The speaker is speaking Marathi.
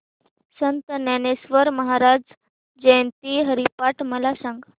संत ज्ञानेश्वर महाराज जयंती हरिपाठ मला सांग